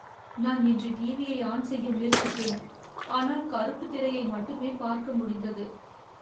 நான் இன்று டிவியை ஆன் செய்ய முயற்சித்தேன் ஆனால் கருப்பு திரையை மட்டுமே பார்க்க முடிந்தது.